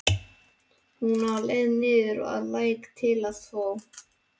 Hún var á leið niður að læk til að þvo.